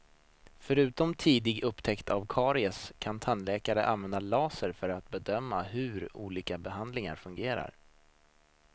Förutom tidig upptäckt av karies kan tandläkarna använda lasern för att bedöma hur olika behandlingar fungerar.